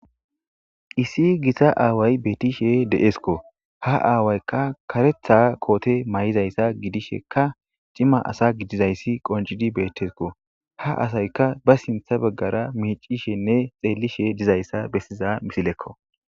issi gissa aaway beetishe de7eskko ha aawaykka karetha koote may7izayssa gidishekka cima asa gidizayssi qoncidi beettesko ha asayka ba sintha beggara miicishenne xeellishe dizayssa bessiza misilekko